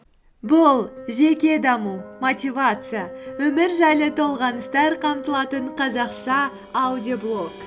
бұл жеке даму мотивация өмір жайлы толғаныстар қамтылатын қазақша аудиоблог